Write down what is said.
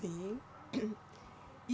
Sim. e